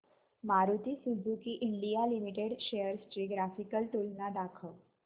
Maruti Suzuki India limited shares ची graphical तुलना दाखव